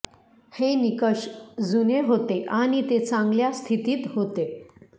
हे निकष जुने होते आणि ते चांगल्या स्थितीत होते